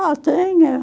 Ah, tinha.